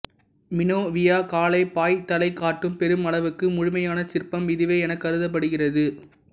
மினோவியக் காளை பாய்தலைக் காட்டும் பெருமளவுக்கு முழுமையான சிற்பம் இதுவே எனக் கருதப்படுகிறது